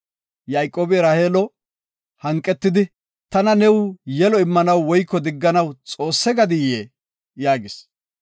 Yayqoobi Raheelo hanqetidi, “Tana new yelo immanaw woyko digganaw Xoosse gadiyee?” yaagis.